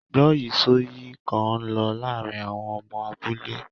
Gbọ́yìísọ̀yìí kan ń lọ láàárín àwọn ọmọ abúlé.